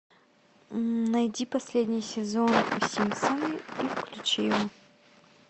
найди последний сезон симпсоны и включи его